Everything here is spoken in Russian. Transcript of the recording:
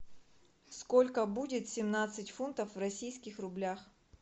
сколько будет семнадцать фунтов в российских рублях